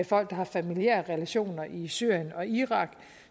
folk der har familiære relationer i syrien og irak